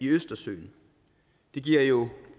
østersøen det giver jo